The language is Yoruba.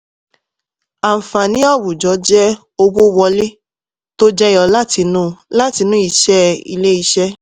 àǹfààní àwùjọ jẹ́ owó wọlé tó jẹyọ látinú látinú iṣẹ́ ilé-iṣẹ́.